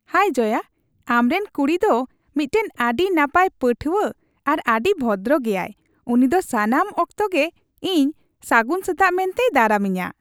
ᱦᱟᱭ ᱡᱚᱭᱟ, ᱟᱢᱨᱮᱱ ᱠᱩᱲᱤ ᱫᱚ ᱢᱤᱫᱴᱟᱝ ᱟᱹᱰᱤ ᱱᱟᱯᱟᱭ ᱯᱟᱹᱴᱷᱣᱟᱹ ᱟᱨ ᱟᱹᱰᱤ ᱵᱷᱚᱫᱨᱚ ᱜᱮᱭᱟᱭ ᱾ ᱩᱱᱤ ᱫᱚ ᱥᱟᱱᱟᱢ ᱚᱠᱛᱚ ᱜᱮ ᱤᱧ ᱥᱟᱹᱜᱩᱱ ᱥᱮᱛᱟᱜ ᱢᱮᱱᱛᱮᱭ ᱫᱟᱨᱟᱢᱤᱧᱟ ᱾